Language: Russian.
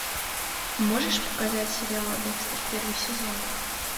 можешь показать сериал декстер первый сезон